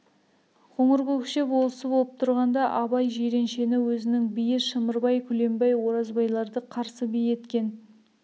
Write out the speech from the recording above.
қоңыркөкше болысы болып тұрғанда абай жиреншені өзінің биі шымырбай күлембай оразбайларды қарсы би еткен